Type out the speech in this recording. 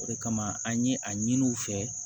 O de kama an ye a ɲini u fɛ